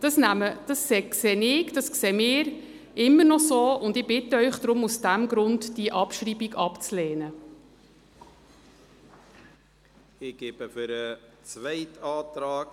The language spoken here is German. Das sehen wir immer noch so, und ich bitte Sie, die Abschreibung aus diesem Grund abzulehnen.